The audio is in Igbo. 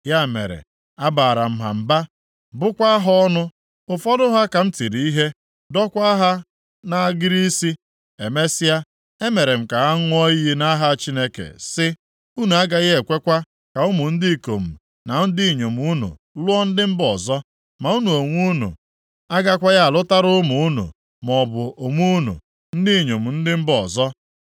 Ya mere, abaara m ha mba, bụkwaa ha ọnụ. Ụfọdụ ha ka m tiri ihe, dọọkwa ha nʼagịrị isi. Emesịa, emere m ka ha ṅụọ iyi nʼaha Chineke si: “Unu agaghị ekwekwa ka ụmụ ndị ikom na ndị inyom unu lụọ ndị mba ọzọ ma unu onwe unu agakwaghị alụtara ụmụ unu, maọbụ onwe unu, ndị inyom ndị mba ọzọ.